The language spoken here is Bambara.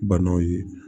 Banaw ye